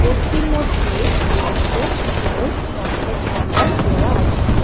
বোর্ডটির মধ্যে অ্যাড্রেস ও contact number দেওয়া আছে।